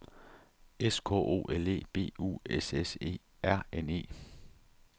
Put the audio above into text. S K O L E B U S S E R N E